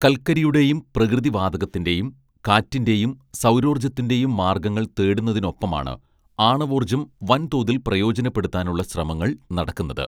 കൽക്കരിയുടെയും പ്രകൃതി വാതകത്തിന്റെയും കാറ്റിന്റെയും സൗരോർജത്തിന്റെയും മാർഗങ്ങൾ തേടുന്നതിനൊപ്പമാണ് ആണവോർജം വൻതോതിൽ പ്രയോജനപ്പെടുത്താനുള്ള ശ്രമങ്ങൾ നടക്കുന്നത്